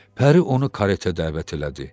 Pəri onu kareta dəvət elədi.